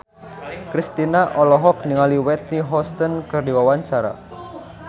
Kristina olohok ningali Whitney Houston keur diwawancara